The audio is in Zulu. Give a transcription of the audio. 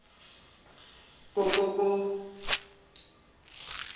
ko ko ko